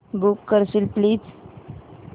book करशील please